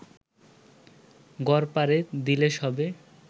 গড়পারে দিলে সবে